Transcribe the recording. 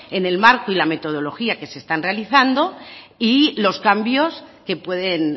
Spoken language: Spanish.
en el marco y la metodología que se están realizando y los cambios que pueden